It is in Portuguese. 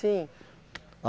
Sim.